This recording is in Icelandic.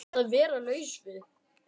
Að vera laus við